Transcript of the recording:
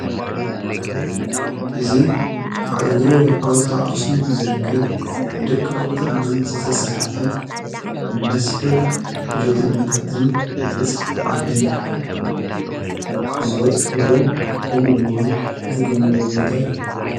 እዙይ ኣብ እግሪ ሓወልቲ ኣክሱም ዝርከብ ብደቀ ቐቅቲ እማን ዘተሠርሐ ንመስሕብ ኡደተኛታትን ብጻሕተዓድን ዝበጽሕዎ ከምኡ ድማ ዝግብንዎ ቦታ እዩ።